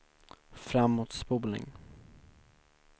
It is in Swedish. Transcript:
framåtspolning